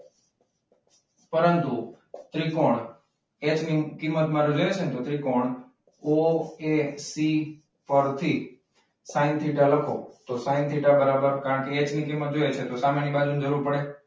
પરંતુ ત્રિકોણ એચ ની કિંમત મળી રહેશે ને તો ત્રિકોણ OAC પરથી સાઈન થીટા લખો તો સાઈન થીટા બરાબર કારણ કે એચ ની કિંમત જોઈએ છે. તો સામેની બાજુની જરૂર પડે.